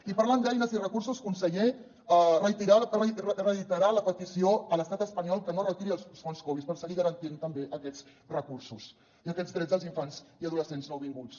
i parlant d’eines i recursos conseller reiterar la petició a l’estat espanyol que no retiri els fons covid per seguir garantint també aquests recursos i aquests drets dels infants i adolescents nouvinguts